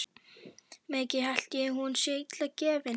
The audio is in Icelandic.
Mikið held ég hún sé illa gefin.